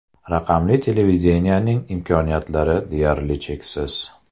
Raqamli televideniyening imkoniyatlari deyarli cheksiz.